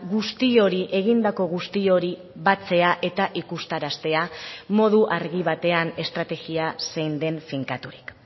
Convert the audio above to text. guzti hori egindako guzti hori batzea eta ikustaraztea modu argi batean estrategia zein den finkaturik